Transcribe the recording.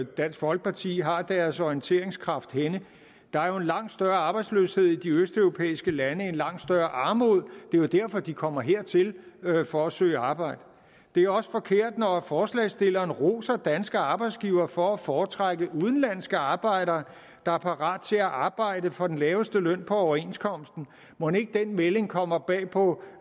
dansk folkeparti har deres orienteringskraft henne der er jo en langt større arbejdsløshed i de østeuropæiske lande en langt større armod det er jo derfor de kommer hertil for at søge arbejde det er også forkert når forslagsstillerne roser danske arbejdsgivere for at foretrække udenlandske arbejdere der er parate til at arbejde for den laveste løn efter overenskomsten mon ikke den melding kommer bag på